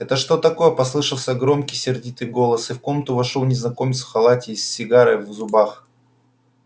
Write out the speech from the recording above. это что такое послышался громкий сердитый голос и в комнату вошёл незнакомец в халате и с сигарой в зубах